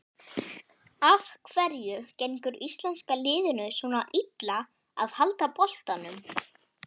Af hverju gengur íslenska liðinu svona illa að halda boltanum?